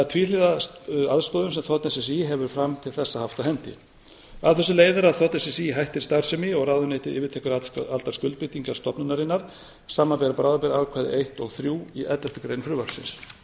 er tvíhliða aðstoðin sem þ s s í hefur fram til þessa haft á hendi af þessu leiðir að þ s s í hættir starfsemi og ráðuneytið yfirtekur allar skuldbindingar stofnunarinnar samanber bráðabirgðaákvæði eitt og þrjú í elleftu grein frumvarpsins